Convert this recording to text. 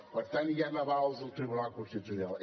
per tant hi han avals del tribunal constitucional